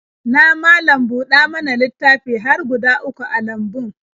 Na malam-buɗa-mana-littafi har guda uku a lambun.